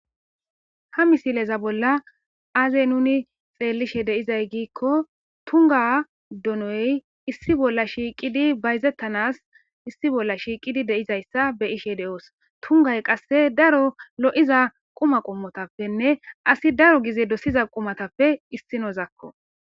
ha misileza bolla aazey nuni xeellishe deyizay giikko tunga donoy issi bolla shiiqidi bayzettanas issi bolla shiiqidi deizayssa be ishe de7oos tungay qasse daro lo7iza quma qommotappenne asi daro gize dosiza qumatappe issinozakko